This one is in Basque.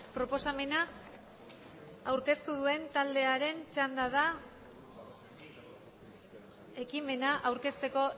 proposamena aurkeztu duen taldearen txanda da ekimena aurkezteko